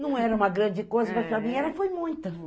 Não era uma grande coisa, mas para mim foi muita.